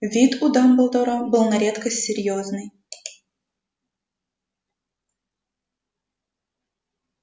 вид у дамблдора был на редкость серьёзный